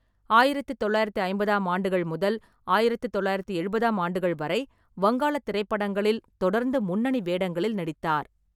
ஆயிரத்து தொள்ளாயிரத்து ஐம்பதாம் ஆண்டுகள் முதல் ஆயிரத்து தொள்ளாயிரத்து எழுபதாம் ஆண்டுகள் வரை வங்காளத் திரைப்படங்களில் தொடர்ந்து முன்னணி வேடங்களில் நடித்தார்.